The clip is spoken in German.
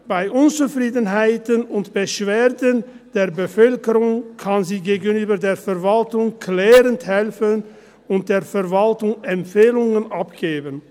– Bei Unzufriedenheiten und Beschwerden der Bevölkerung kann sie gegenüber der Verwaltung klärend helfen und der Verwaltung Empfehlungen abgeben.